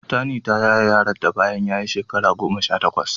Tani ta yaye yaronta bayan ya yi wata goma sha takwas.